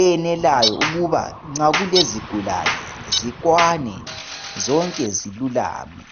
eyenelayo ukuba nxa kulezigulane zikwane zonke zilulame.